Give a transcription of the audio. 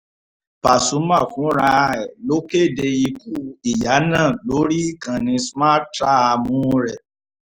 pasumà fúnra ẹ̀ ló kéde ikú ìyá náà lórí ìkànnì smarthraàmù rẹ̀